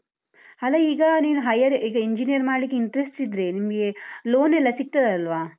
ಅಲ್ಲ ಈಗ ನೀನು higher ಈಗ engineer ಮಾಡ್ಲಿಕ್ಕೆ interest ಇದ್ರೆ ನಿಮ್ಗೆ loan ಎಲ್ಲ ಸಿಗ್ತದಲ್ವಾ?